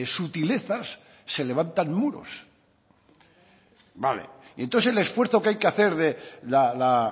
sutilezas se levantan muros vale y entonces el esfuerzo que hay que hacer de la